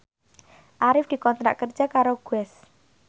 Arif dikontrak kerja karo Guess